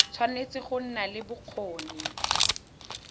tshwanetse go nna le bokgoni